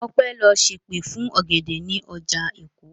Ọpẹ́ lọ ṣèpè fún ọ̀gẹ̀dẹ̀ ní ọjà Èkó.